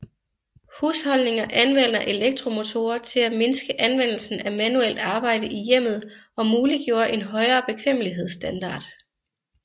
Husholdninger anvender elektromotorer til at mindske anvendelsen af manuelt arbejde i hjemmet og muliggjorde en højere bekvemmelighedsstandard